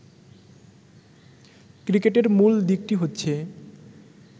ক্রিকেটের মূল দিকটি হচ্ছে